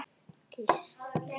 Geisli getur átt við